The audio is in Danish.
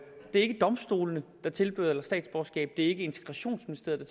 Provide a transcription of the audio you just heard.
er ikke domstolene der tildeler statsborgerskab det er ikke integrationsministeriet